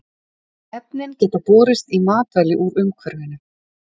Efnin geta borist í matvæli úr umhverfinu.